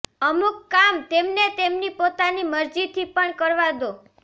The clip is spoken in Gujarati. અમુક કામ તેમને તેમની પોતાની મરજીથી પણ કરવા દો